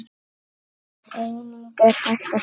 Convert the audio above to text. Einnig er hægt að sjá.